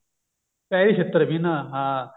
peri ਛਿੱਤਰ ਵੀ ਨਾ